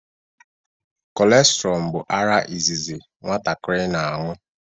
Kolostrum bụ ara izizi nwatakịrị na-aṅụ